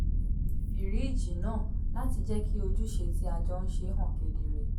fìríìjì náà láti jẹ́ kí ojúṣe tí a jọ ń ṣe hàn kedere